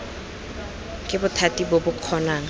ke bothati bo bo kgonang